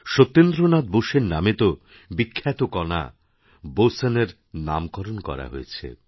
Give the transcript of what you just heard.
সত্যেন্দ্র নাথ বোসের নামেতো বিখ্যাত কণা বোসনের নামকরণও করা হয়েছে